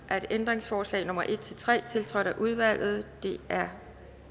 ændringsforslag nummer en tre tiltrådt af udvalget de er